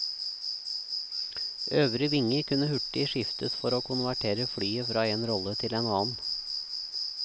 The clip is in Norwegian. Øvre vinge kunne hurtig skiftes for å konvertere flyet fra en rolle til en annen.